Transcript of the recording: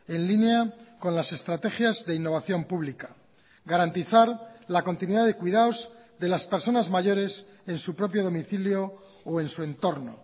en línea con las estrategias de innovación pública garantizar la continuidad de cuidados de las personas mayores en su propio domicilio o en su entorno